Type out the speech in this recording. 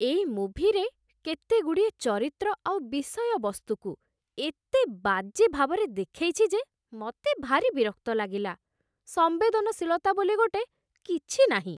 ଏଇ ମୁଭିରେ କେତେଗୁଡ଼ିଏ ଚରିତ୍ର ଆଉ ବିଷୟବସ୍ତୁକୁ ଏତେ ବାଜେ ଭାବରେ ଦେଖେଇଛି ଯେ, ମତେ ଭାରି ବିରକ୍ତ ଲାଗିଲା । ସମ୍ବେଦନଶୀଳତା ବୋଲି ଗୋଟେ କିଛି ନାହିଁ ।